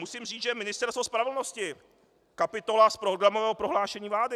Musím říct, že Ministerstvo spravedlnosti, kapitola z programového prohlášení vlády.